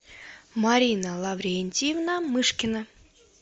марина лаврентьевна мышкина